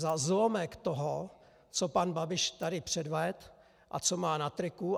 Za zlomek toho, co pan Babiš tady předvedl a co má na triku.